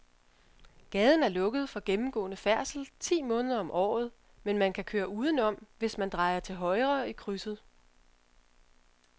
Gaden er lukket for gennemgående færdsel ti måneder om året, men man kan køre udenom, hvis man drejer til højre i krydset.